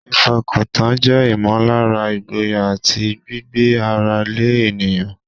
Ìfọkàntán jẹ́ ìmọ̀lára ìgboyà àti gbígbé ara lé ènìyàn.